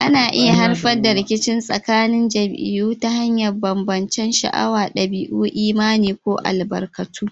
Ana iya haifar da rikici tsakanin jam'iyyu ta hanyar bambancen sha'awa, dabi'u, imani, ko albarkatu.